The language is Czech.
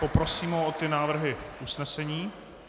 Poprosím ho o ty návrhy usnesení.